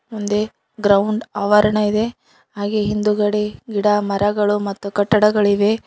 ಮುಂದೆ ಗ್ರೌಂಡ್ ಆವರಣ ಇದೆ ಹಾಗೆ ಹಿಂದುಗಡೆ ಗಿಡಮರಗಳು ಮತ್ತು ಕಟ್ಟಡಗಳಿವೆ.